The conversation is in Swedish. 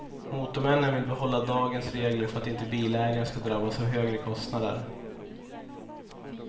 Motormännen vill behålla dagens regler för att inte bilägaren ska drabbas av högre kostnader.